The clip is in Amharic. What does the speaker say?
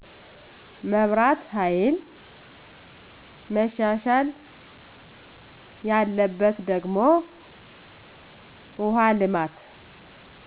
መብራት ሀይል መሻሻል ያለበት ደግሞ ውሃ ልማት